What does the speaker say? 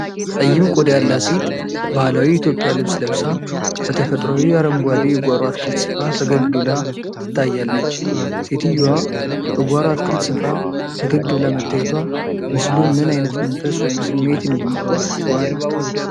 ጠይም ቆዳ ያላት ሴት ባህላዊ የኢትዮጵያ ልብስ ለብሳ፣ በተፈጥሯዊ አረንጓዴ የጓሮ አትክልት ስፍራ ፈገግ ብላ ትታያለች። ሴትየዋ በጓሮ አትክልት ስፍራ ፈገግ ብላ መታየቷ ምስሉን ምን ዓይነት መንፈስ ወይም ስሜት እንዲኖረው አድርጓል?